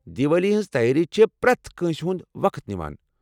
دیوالی ہنٛز تیٲری چھےٚ پرٛٮ۪تھ کٲنٛسہ ہنٛد وقت نیٚوان۔